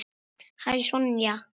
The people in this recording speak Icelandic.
Hæ, Sonja.